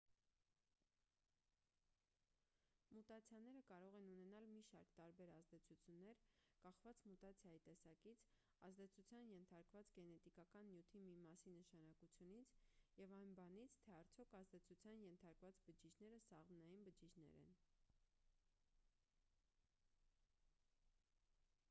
մուտացիաները կարող են ունենալ մի շարք տարբեր ազդեցություններ կախված մուտացիայի տեսակից ազդեցության ենթարկված գենետիկական նյութի մի մասի նշանակությունից և այն բանից թե արդյոք ազդեցության ենթարկված բջիջները սաղմնային բջիջներ են